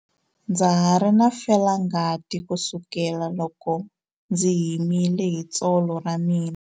Ndza ha ri na felangati kusukela loko ndzi himile hi tsolo ra mina.